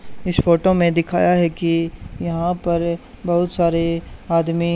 इस फोटो में दिखाया है की यहां पर बहुत सारे आदमी--